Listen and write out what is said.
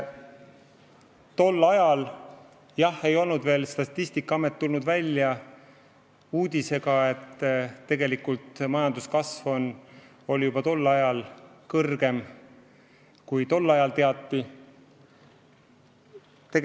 Tol ajal ei olnud veel Statistikaamet tulnud välja uudisega, et tegelik majanduskasv oli kõrgem, kui arvati.